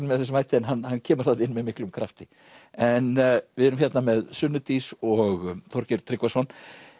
með þessum hætti en hann hann kemur þarna inn með miklum krafti en við erum hérna með Sunnu Dís og Þorgeir Tryggvason